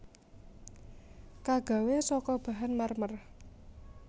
Kagawé saka bahan marmer